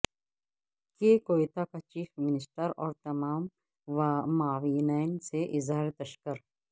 کے کویتا کا chief minister اور تمام معاونین سے اظہار تشکر